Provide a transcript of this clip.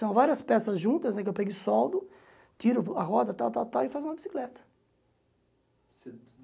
São várias peças juntas, né, que eu pego e soldo, tiro a roda, tal, tal, tal, e faço uma bicicleta.